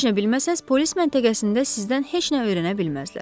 Heç nə bilməsəz, polis məntəqəsində sizdən heç nə öyrənə bilməzlər.